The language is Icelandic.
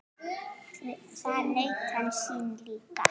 Þar naut hann sín líka.